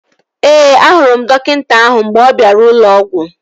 Ee, ahụrụ m dọkịta ahụ mgbe m bịara ụlọ ọgwụ